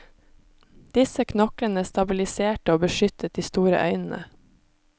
Disse knoklene stabiliserte og beskyttet de store øynene.